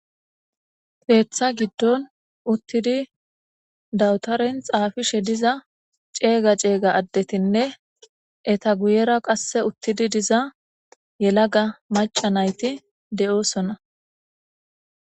Keththa gidon uttidi dabutern xafishshe diza cega cega adetine eta guyera qase xafishshe utidi de"iza yelaga macca nat de"osona